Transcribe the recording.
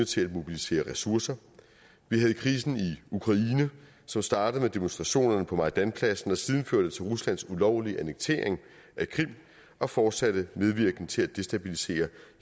til at mobilisere ressourcer vi havde krisen i ukraine som startede med demonstrationerne på maidanpladsen og siden førte til ruslands ulovlige annektering af krim og fortsatte medvirken til at destabilisere